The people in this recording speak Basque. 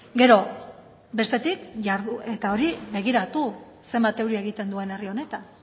gero bestetik eta hori begiratu zenbat euri egiten duen herri honetan